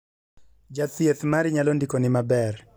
Ja thieth mari nyalo ndiko ni maber